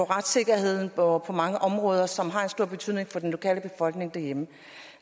retssikkerheden og mange andre områder som har stor betydning for den lokale befolkning derhjemme